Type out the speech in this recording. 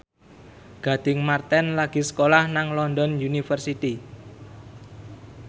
Gading Marten lagi sekolah nang London University